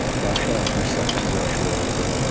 Yaşı 68 yaşı var idi.